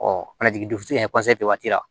waati la